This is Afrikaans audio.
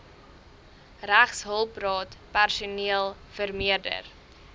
regshulpraad personeel vermeerder